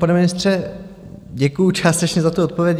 Pane ministře, děkuji částečně za tu odpověď.